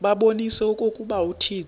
babonise okokuba uthixo